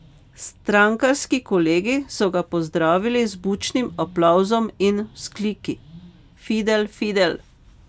Strankarski kolegi so ga pozdravili z bučnim aplavzom in vzkliki: 'Fidel, Fidel'!